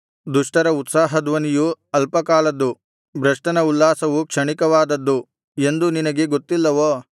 ದುಷ್ಟರ ಉತ್ಸಾಹ ಧ್ವನಿಯು ಅಲ್ಪಕಾಲದ್ದು ಭ್ರಷ್ಟನ ಉಲ್ಲಾಸವು ಕ್ಷಣಿಕವಾದದ್ದು ಎಂದು ನಿನಗೆ ಗೊತ್ತಿಲ್ಲವೋ